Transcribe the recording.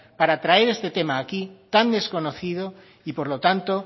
para traer este tema aquí tan desconocido y por lo tanto